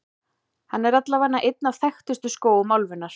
Hann er allavega einn af þekktustu skógum álfunnar.